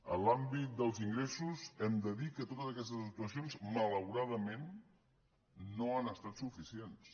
en l’àmbit dels ingressos hem de dir que totes aquestes actuacions malauradament no han estat suficients